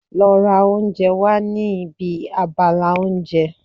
Lọ ra oúnjẹ wá ní ibi abala oúnjẹ.